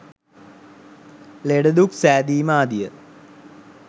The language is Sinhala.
ලෙඩදුක් සෑදීම ආදිය